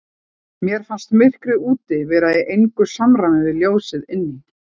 Mér fannst myrkrið úti vera í engu samræmi við ljósið inni.